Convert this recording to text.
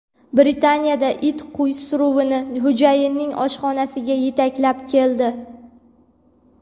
Britaniyada it qo‘y suruvini xo‘jayinining oshxonasiga yetaklab keldi .